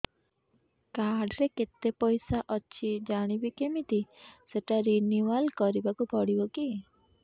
card ରେ କେତେ ପଇସା ଅଛି ଜାଣିବି କିମିତି ସେଟା ରିନୁଆଲ କରିବାକୁ ପଡ଼ିବ କି